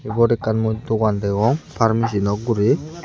ibot ekkan mui dogan degong pharmacy nok guri.